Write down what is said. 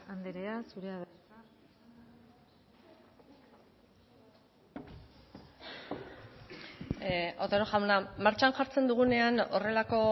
andrea zurea da hitza otero jauna martxan jartzen dugunean horrelako